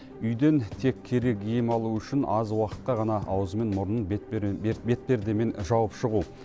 үйден тек керек ем алу үшін аз уақытқа ғана аузы мен мұрнын бетпердемен жауып шығу